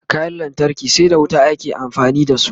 kayan lantarki sai da wuta ake amfani da su